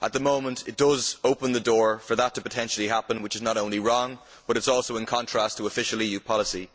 At the moment it does open the door for that potentially to happen, which is not only wrong but it is also in contrast to official EU policy.